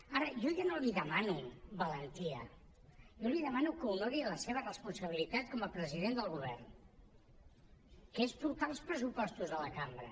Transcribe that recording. ara jo ja no li demano valentia jo li demano que honori la seva responsabilitat com a president del govern que és portar els pressupostos a la cambra